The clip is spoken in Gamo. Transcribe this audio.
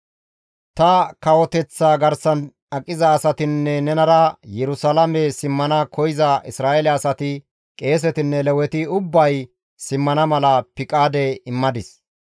Ta kawoteththa garsan aqiza asatinne nenara Yerusalaame simmana koyza Isra7eele asati, qeesetinne Leweti ubbay simmana mala piqaade immadis.